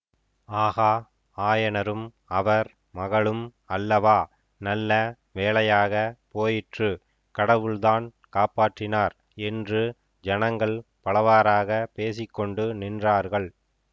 ஆகா ஆயனரும் அவர் மகளும் அல்லவா நல்ல வேளையாக போயிற்று கடவுள்தான் காப்பாற்றினார் என்று ஜனங்கள் பலவாறாகப் பேசிக்கொண்டு நின்றார்கள்